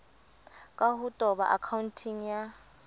ka ho toba akhaonteng ya